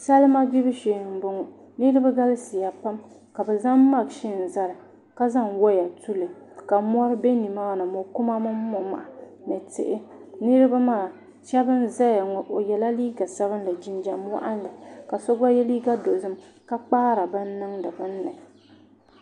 Salima gbibu shee n boŋo niraba galisiya pam ka bi zaŋ mashin zali ka zaŋ woya tuli ka mori bɛ nimaani mokuma mini momaha ni tihi niraba maa shab n ʒɛya ŋo o yɛla liiga sabinli jinjɛm waɣanli ka so gba yɛ liiga dozim ka kpaari bin niŋdi bunni